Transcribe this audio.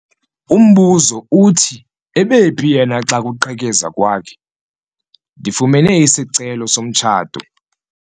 Umbuzo uthi ebephi yena xa kuqhekezwa kwakhe? ndifumene isicelo somtshato